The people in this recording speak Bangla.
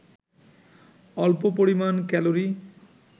অল্প পরিমান ক্যালরি